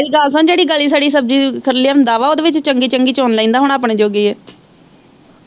ਮੇਰੀ ਗੱਲ ਸੁਣ ਜਿਹੜੀ ਗਲੀ ਸੜੀ ਸਬਜ਼ੀ ਲਿਆਂਦਾ ਵਾ ਓਦੇ ਵਿੱਚ ਚੰਗੀ ਚੰਗੀ ਚੁਣ ਲੈਂਦਾ ਹੁਣਾ ਆਪਣੇ ਜੋਗੀ ਇਹ।